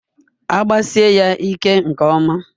Agbasie ya ike nke ọma.